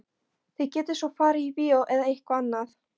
Þið getið svo farið á bíó eða eitthvað annað.